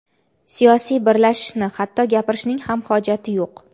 siyosiy birlashishni — hatto gapirishning ham hojati yo‘q.